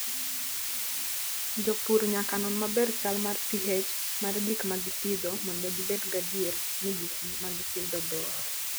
Jopur nyaka non maber chal mar pH mar gik ma gipidho mondo gibed gadier ni gik ma gipidho beyo.